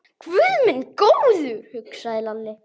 Guð minn góður, hugsaði Lalli.